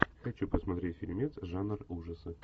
хочу посмотреть фильмец жанр ужасы